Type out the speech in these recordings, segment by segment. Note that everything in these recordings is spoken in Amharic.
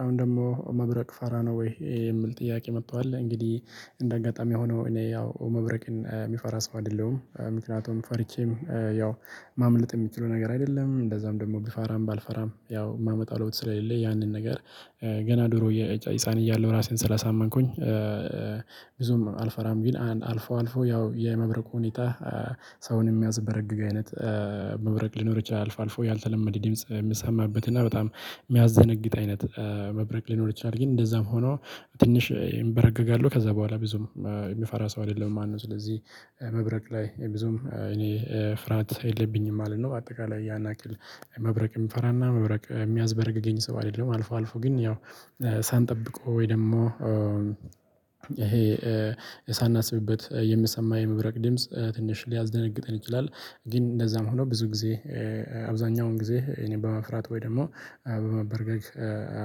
አሁን ደግሞ መብረቅ ፈራ ነው ወይ? የሚል ጥያቄ መጥቷል እንግዲህ እንደ አጋጣሚ ሆኖ እኔ ያው መብረቅን የሚፈራ ሰው አይደለሁም። ምክንያቱም ፈርቼም ያው ማምለጥ የሚችለው ነገር አይደለም እንደዛም ደግሞ ቢፈራም ባልፈራም ያው የማመጣ ለውጥ ስለሌለ ያንን ነገር። ገና ድሮ የህፃን እያለሁ ራሴን ስላሳመንኩኝ። አልፈራም ቢል አልፎ አልፎ ያው የመብረቁ ሁኔታ። ሰውን የሚያዝበረግግ አይነት መብረቅ ሊኖር ይችላል አልፎ ያልተለመደ ድምጽ የሚሰማበት እና በጣም የሚያስደነግጥ አይነት መብረቅ ሊኖር ይችላል። ግን እንደዛም ሆኖ ትንሽ ይንበረገጋለሁ ከዛ በኋላ ብዙም የምፈራ ሰው አይደለም። ማነው ስለዚህ መብረቅ ላይ ብዙም እኔ ፍርሃት የለብኝም ማለት ነው። በአጠቃላይ ያን ያክል መብረቅ የሚፈራና መብረቅ የሚያዝበረግ ገኝ ሰው አይደለም። አልፎ አልፎ ግን ያው ሳንጠብቀው ወይ ደግሞ ይሄ ሳናስብበት የምሰማው የመብረቅ ድምጽ ትንሽ ሊያስደነግጠን ይችላል። ግን እንደዛም ሆኖ ብዙ ጊዜ አብዛኛውን ጊዜ እኔ በመፍራት ወይ ደግሞ በመበርገግ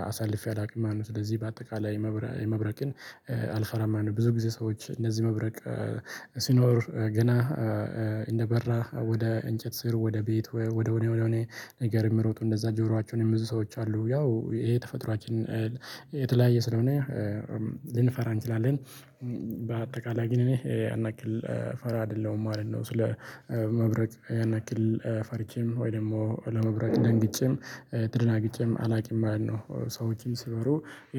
አሳልፌ አላውቅም ማለት ነው። ስለዚህ በአጠቃላይ መበረ የመብረቅን አልፈራ ማለት ነው። ብዙ ጊዜ ሰዎች እነዚህ መብረቅ ሲኖር ገና እንደበራ ወደ እንጨት ስር ወደ ቤት ወደ ወደ ወደ ወደ ነገር የምሮጡ እንደዛ ጆሯቸውን የምዙ ሰዎች አሉ። ያው ይሄ ተፈጥሯችን የተለያየ ስለሆነ ልንፈራ እንችላለን። በአጠቃላይ ግን እኔ አናክል ፈራ አይደለሁም ማለት ነው። ስለ መብረቅ ያን ያክል ፈርቼም ወይም ደግሞ ለመብረቅ ደንግጨም ተደናግጨም አላውቅም ማለት ነው። ሰዎችም ሲኖሩ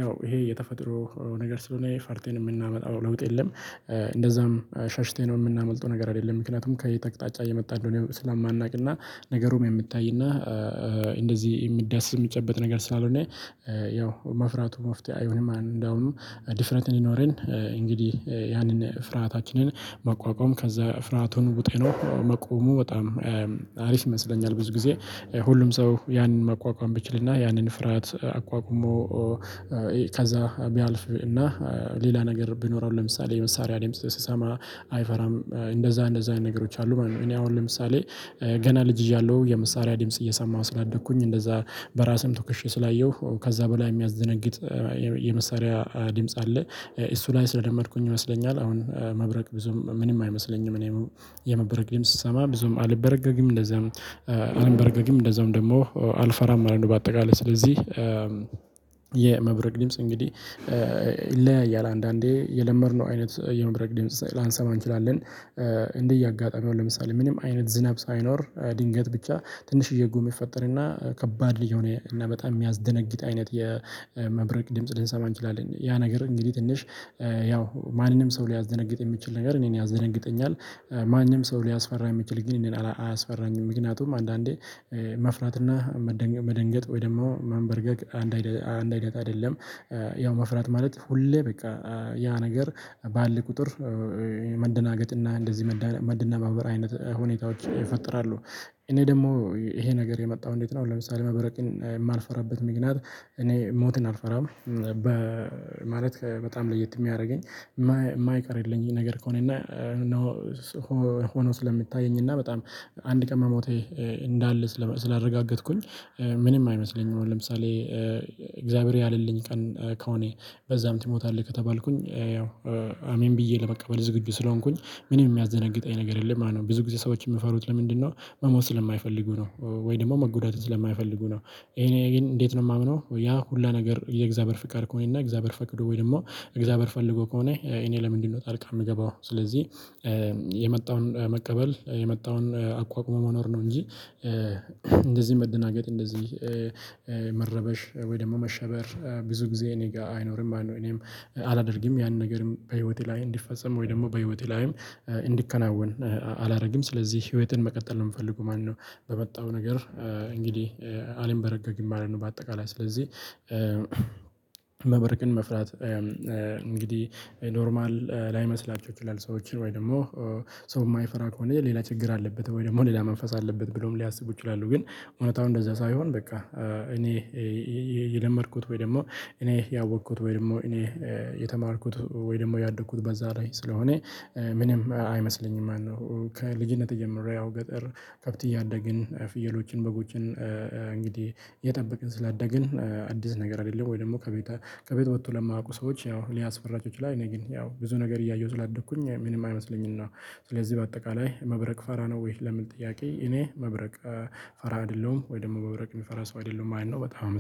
ያው ይሄ የተፈጥሮ ነገር ስለሆነ ፈርተን የምናመጣው ለውጥ የለም። እንደዛም ሸሽቴን የምናመልጠው ነገር አይደለም። ምክንያቱም ከየት ተቅጣጫ እየመጣ እንደሆነ ስለማናውቅና ነገሩም የምታይና እንደዚህ የሚዳሰስ የሚጨበጥ ነገር ስላልሆነ ያው መፍራቱ መፍትሄ አይሆንም። እንደውም ድፍረንት እንዲኖረን እንግዲህ ያንን ፍርሃታችንን መቋቋም ከዛ ፍራቱን ቡጤ ነው። መቆሙ በጣም አሪፍ ይመስለኛል። ብዙ ጊዜ ሁሉም ሰው ያንን መቋቋም ብችልና ያንን ፍርሃት አቋቁሞ ከዛ ቢያልፍ እና ሌላ ነገር ብኖረው ለምሳሌ የመሳሪያ ድምጽ ስሰማ አይፈራም እንደዛ እንደዛ ነገሮች አሉ ማለት ነው። እኔ አሁን ለምሳሌ ገና ልጅ እያለሁ የመሳሪያ ድምጽ እየሰማሁ ስላደኩኝ እንደዛ በራስም ተኩሼ ስላየሁ ከዛ በላይ የሚያዘነግጥ የመሳሪያ ድምጽ አለ እሱ ላይ ስለደመድኩኝ ይመስለኛል። አሁን መብረቅ ብዙም ምንም አይመስለኝም እኔ የመብረቅ ልምስ ስሰማ ብዙም አልበረገግም እንደዛም አልበረገግም እንደዛም ደግሞ አልፈራም ማለት ነው። በአጠቃላይ ስለዚህ የመብረቅ ድምጽ እንግዲህ ለእያለ አንዳንዴ የለመድነው አይነት የመብረቅ ድምጽ ላንሰማ እንችላለን እንዲህ እያጋጣሚ አለ ለምሳሌ ምንም አይነት ዝናብ ሳይኖር ድንገት ብቻ ትንሽዬ ጉም ይፈጠረና ከባድ የሆነ በጣም የሚያስደነግጥ አይነት የመብረቅ ድምጽ ልንሰማ እንችላለን ያ ነገር እንግዲህ ትንሽ ያው ማንንም ሰው ሊያዘነግጥ የሚችል ነገር እኔን ያዘነግጠኛል። ማንም ሰው ሊያስፈራ የሚችል ግን እኔን አያስፈራኝም። ምክንያቱም አንዳንዴ መፍራትና መደንገጥ ወይ ደግሞ መንበርገግ አንድ አይደግ አይነት አይደለም። ያው መፍራት ማለት ሁሌ በቃ ያ ነገር ባለ ቁጥር መደናገጥና እንደዚህ መደናበብ መድነባበር አይነት ሁኔታዎች ይፈጥራሉ። እኔ ደግሞ ይሄ ነገር የመጣው እንዴት ነው? ለምሳሌ መበረቅን የማልፈራበት ምክንያት እኔ ሞትን አልፈራም። በ ማለት በጣም ለየት የሚያደርገኝ የማይቀርልኝ ነገር ከሆነ እና ሆኖ ስለሚታየኝ በጣም አንድ ቀን መሞቴ እንዳለ ስላረጋገጥኩኝ ምንም አይመስለኝም። ለምሳሌ እግዚአብሔር ያለልኝ ቀን ከሆነ በዛም ትሞታለህ ከተባልኩኝ ያው አሜን ብዬ ለመቀበል ዝግጁ ስለሆንኩኝ ምንም የሚያዘነግጥ አይነት ነገር የለም። አሉ ብዙ ጊዜ ሰዎችን የምፈሩት ለምንድነው? መሞት ስለማይፈልጉ ነው። ወይ ደግሞ መጎዳትን ስለማይፈልጉ ነው። እኔ ግን እንዴት ነው የማምነው ያ ሁሉ ነገር የእግዚአብሔር ፍቃድ ከሆነና እግዚአብሔር ፈቅዶ ወይም ደግሞ እግዚአብሔር ፈልጎ ከሆነ እኔ ለምንድነው ጣልቃ የምገባው? ስለዚህ የመጣውን መቀበል የመጣውን አቋቁሞ መኖር ነው። እንጂ እንደዚህ መደናገጥ እንደዚህ መረበሽ ወይ ደግሞ መሸበር ብዙ ጊዜ እኔ ጋር አይኖርም። አለው እኔም አላደርግም ያንን ነገርም በህይወቴ ላይ እንዲፈጸም ወይ ደግሞ በህይወቴ ላይም እንዲከናወን አላደርግም። ስለዚህ ህይወትን መቀጠል ነው የምፈልገው ማነው? በመጣው ነገር እንግዲህ አልንበረገግም ማለት ነው። በአጠቃላይ ስለዚህ መብረቅን መፍራት እንግዲህ ኖርማል ላይመስላችሁ ይችላል ሰዎችን ወይ ደግሞ ሰው የማይፈራ ከሆነ ሌላ ችግር አለበት ወይ ደግሞ ሌላ መንፈስ አለበት ብሎም ሊያስቡ ይችላሉ። ግን እውነታው እንደዛ ሳይሆን በቃ እኔ የለመድኩት ወይ ደግሞ እኔ ያወቅኩት ወይ ደግሞ እኔ የተማርኩት ወይ ደግሞ ያደግኩት በዛ ላይ ስለሆነ ምንም አይመስለኝም ማለት ነው። ከልጅነት እየምረያው ገጠር ከብት እያደግን ፍየሎችን በጎችን እንግዲህ የጠበቅን ስላደግን አዲስ ነገር አይደለም። ወይ ደግሞ ከቤት ከቤት ወጥቶ ለማውቁ ሰዎች ያው ሊያስፈራቸው ላይ እኔ ግን ያው ብዙ ነገር እያየሁ ስላደኩኝ ምንም አይመስለኝም። እና ስለዚህ በአጠቃላይ መብረቅ ፈራ ነው ወይ ለምን ጥያቄ እኔ መብረቅ ፈራ አይደለሁም። ወይ ደግሞ መብረቅ የሚፈራ ሰው አይደለሁም አይነት ነው። በጣም